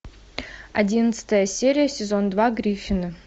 одиннадцатая серия сезон два гриффины